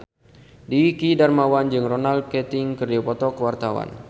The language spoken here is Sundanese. Dwiki Darmawan jeung Ronan Keating keur dipoto ku wartawan